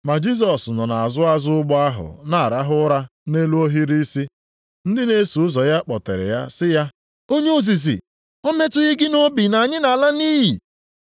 Ma Jisọs nọ nʼazụ azụ ụgbọ ahụ na-arahụ ụra nʼelu ohiri isi. Ndị na-eso ụzọ ya kpọtere ya sị ya, “Onye ozizi, o metụghị gị nʼobi na anyị nʼala nʼiyi?”